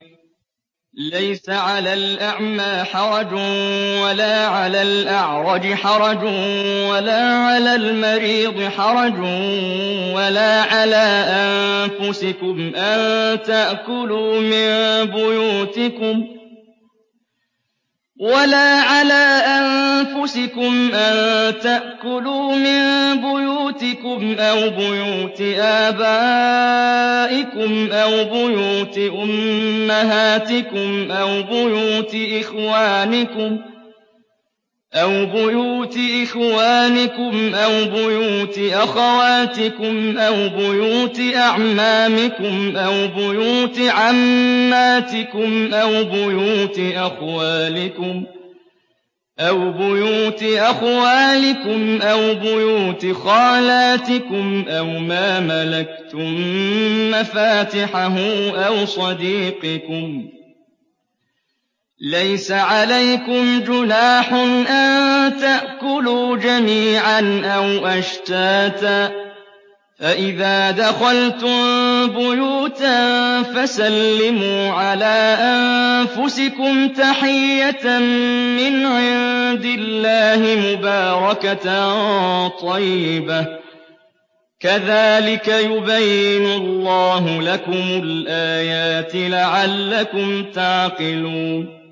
لَّيْسَ عَلَى الْأَعْمَىٰ حَرَجٌ وَلَا عَلَى الْأَعْرَجِ حَرَجٌ وَلَا عَلَى الْمَرِيضِ حَرَجٌ وَلَا عَلَىٰ أَنفُسِكُمْ أَن تَأْكُلُوا مِن بُيُوتِكُمْ أَوْ بُيُوتِ آبَائِكُمْ أَوْ بُيُوتِ أُمَّهَاتِكُمْ أَوْ بُيُوتِ إِخْوَانِكُمْ أَوْ بُيُوتِ أَخَوَاتِكُمْ أَوْ بُيُوتِ أَعْمَامِكُمْ أَوْ بُيُوتِ عَمَّاتِكُمْ أَوْ بُيُوتِ أَخْوَالِكُمْ أَوْ بُيُوتِ خَالَاتِكُمْ أَوْ مَا مَلَكْتُم مَّفَاتِحَهُ أَوْ صَدِيقِكُمْ ۚ لَيْسَ عَلَيْكُمْ جُنَاحٌ أَن تَأْكُلُوا جَمِيعًا أَوْ أَشْتَاتًا ۚ فَإِذَا دَخَلْتُم بُيُوتًا فَسَلِّمُوا عَلَىٰ أَنفُسِكُمْ تَحِيَّةً مِّنْ عِندِ اللَّهِ مُبَارَكَةً طَيِّبَةً ۚ كَذَٰلِكَ يُبَيِّنُ اللَّهُ لَكُمُ الْآيَاتِ لَعَلَّكُمْ تَعْقِلُونَ